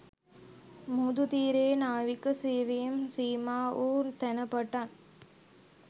මුහුදු තීරයේ නාවික සෙවීම් සීමා වූ තැන පටන්